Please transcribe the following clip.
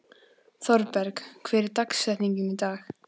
Thorberg, hver er dagsetningin í dag?